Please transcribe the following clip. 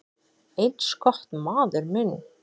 """Eins gott, maður minn"""